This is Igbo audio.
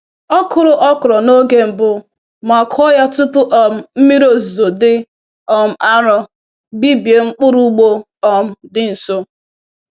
Ọ kụrụ okro n’oge mbụ ma kụọ ya tupu um mmiri ozuzo dị um arọ bibie mkpụrụ ugbo um dị nso.